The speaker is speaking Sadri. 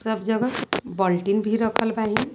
सब जगह बल्टीन भी रखल बाहिन।